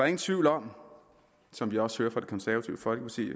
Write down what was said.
ingen tvivl om som vi også hører fra det konservative folkeparti